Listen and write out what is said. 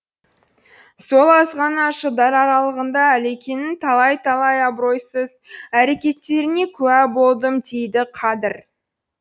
сол азғана жылдар аралығында ілекеңнің талай талай абыройсыз әрекеттеріне куә болдым дейді қадыр